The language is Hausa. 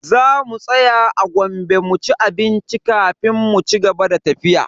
Za mu tsaya a Gombe mu ci abinci kafin mu cigaba da tafiya.